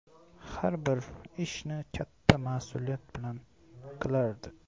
Har bir ishini katta mas’uliyat bilan qilardi.